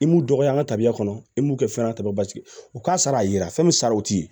I m'u dɔgɔya an ka tabiya kɔnɔ i m'u kɛ fɛn na tuma bɛɛ basigi u k'a sara yira fɛn min saraw tɛ